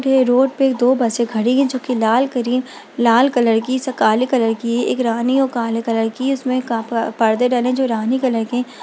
ये रोड पे दो बसे खड़ी हैं जो की लाल करी लाल कलर की काले कलर की है एक रानी और काले कलर की है इसमें का प-पर्दे डले जो रानी कलर के--